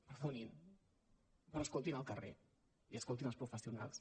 perdonin però escoltin el carrer i escoltin els professionals